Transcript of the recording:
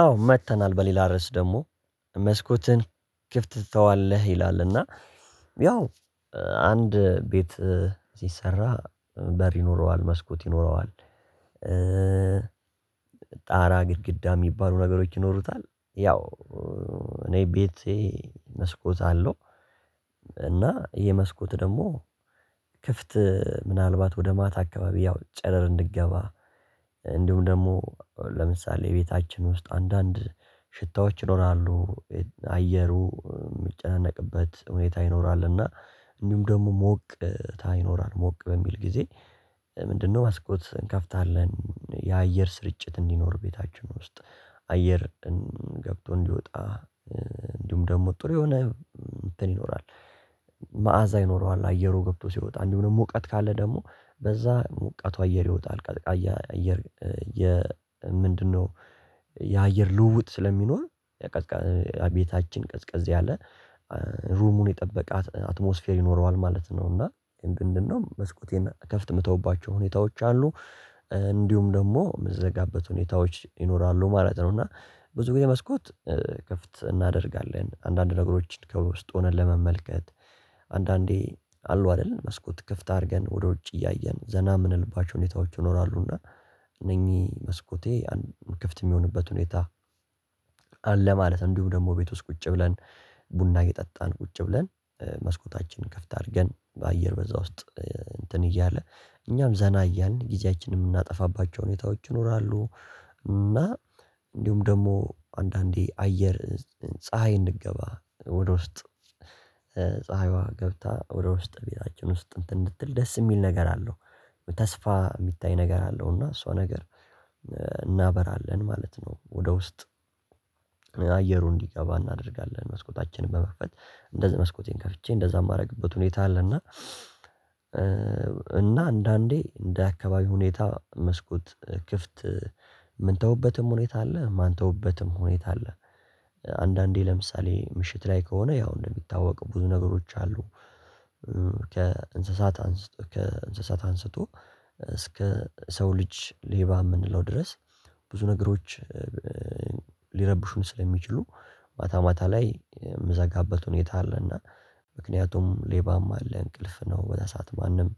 አዎ መጥተናል በሌላ ርዕስ ደግሞ መስኮትህን ክፍት ትተዋለህ ይላል እና ያው አንድ ቤት ሲሰራ በር ይኖረዋል መስኮት ይኖረዋል። ጣራ ግድግዳ የሚባሉ ነገሮች ይኖሩታል ያው እኔ ቤቴ መስኮት አለው። እና ይሄ መስኮት ደግሞ ክፍት ምናልባት ወደ ማታ አካባቢ ያው ጨረር እንድገባ እንዲሁም ደግሞ ለምሳሌ ቤታችን ውስጥ አንዳንድ ሽታዎች ይኖራሉ። አየሩ ሚጨናነቅበት ሁኔታ ይኖራል እና እንዲሁም ደግሞ ሞቅታ ይኖራል ሞቅ በሚል ጊዜ። ምንድነው መስኮት እንከፍታለን። የአየር ስርጭት እንዲኖር ቤታችን ውስጥ አየር ገብቶ እንዲወጣ እንዲሁም ደግሞ ጥሩ የሆነ እንትን ይኖራል። መዓዛ ይኖረዋል አየሩ ገብቶ ሲወጣ እንዲሁም ደግሞ ሙቀት ካለ ደግሞ በዛ ሞቃቱ አየር ይወጣል ቀዝቃያ አየር። ምንድነው? የአየር ልውውጥ ስለሚኖር ቤታችን ቀዝቀዝ ያለ ሩሙን የጠበቃት አትሞስፌር ይኖረዋል ማለት ነው። እና እንደውም መስኮቴን ከፍት የምተውባቸው ሁኔታዎች አሉ። እንዲሁም ደግሞ የምዘጋበት ሁኔታዎች ይኖራሉ ማለት ነው። እና ብዙ ጊዜ መስኮት ክፍት እናደርጋለን አንዳንድ ነገሮችን ከውስጥ ሆነን ለመመልከት። አንዳንዴ አሉ አይደለን መስኮት ክፍት አድርገን ወደ ውጭ እያየን ዘና የምንልባቸው ሁኔታዎች ይኖራሉና። እነኚህ መስኮቴ ክፍት የሚሆንበት ሁኔታ አለ። ማለት እንዲሁ ደግሞ ቤት ውስጥ ቁጭ ብለን ቡና የጠጣን ቁጭ ብለን መስኮታችንን ክፍት አድርገን በአየር በዛ ውስጥ እንትን እያለ እኛም ዘና እያልን ጊዜያችንን የምናጠፋባቸው ሁኔታዎች ይኖራሉ። እና እንዲሁም ደግሞ አንዳንዴ አየር ፀሀይ እንድገባ ወደ ውስጥ ፀሀይዋ ገብታ ወደ ውስት ቤታችን ውስት እንትን እንድትል ደስ የሚል ነገር አለው። ተስፋ የሚታይ ነገር አለው እና እሷ ነገር እናበራለን ማለት ነው። ወደ ውስጥ አየሩ እንዲገባ እናደርጋለን መስኮታችን በመክፈት እንደዚህ መስኮቴን ከፍቼ እንደዛ የማደርግበት ሁኔታ አለ። እና እና አንዳንዴ እንደ አካባቢ ሁኔታ መስኮት ክፍት የምንተውበትም ሁኔታ አለ የማንተውበትም ሁኔታ አለ። አንዳንዴ ለምሳሌ ምሽት ላይ ከሆነ ያው እንደሚታወቅ ብዙ ነገሮች አሉ። ከእንስሳት አንስቶ ከእንስሳት አንስቶ እስከ ሰው ልጅ ሌባ የምንለው ድረስ ብዙ ነገሮች ሊረብሹን ስለሚችሉ ማታ ማታ ላይ የምዘጋበት ሁኔታ አለና። ምክንያቱም ሌባም አለ እንቅልፍ ነው በዛ ሰዓት ማንም